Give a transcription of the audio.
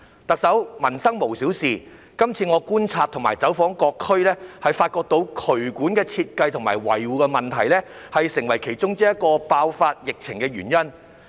特首，民生無小事，今次我觀察和走訪各區，發現渠管設計與維護問題成為其中一個疫情爆發的原因。